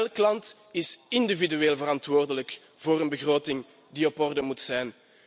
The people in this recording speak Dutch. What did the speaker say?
Elk land is individueel verantwoordelijk voor een begroting die op orde moet zijn.